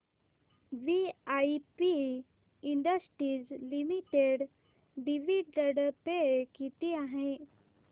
VIP industries limited dividend pay किती आहे